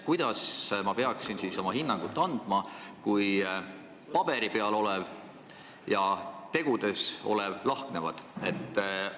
Kuidas ma peaksin siis oma hinnangu andma, kui paberi peal olev ja tegudes olev lahknevad?